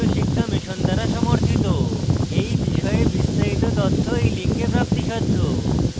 এই বিষয়ে বিস্তারিত তথ্য এই link প্রাপ্তিসাধ্য